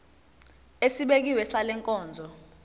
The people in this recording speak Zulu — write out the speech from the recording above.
esibekiwe sale nkonzo